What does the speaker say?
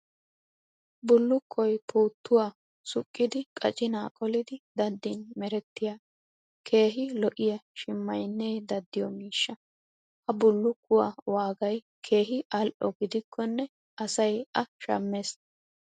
Bullukkoy puuttuwa suqqidi qacinaa qolidi daddin merettiya keehi lo'iya shimayinnee daddiyo miishsha. Ha bullukkuwaa waagay keehi al'o gidikkonne asay a shammes.